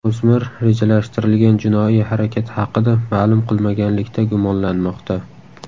O‘smir rejalashtirilgan jinoiy harakat haqida ma’lum qilmaganlikda gumonlanmoqda.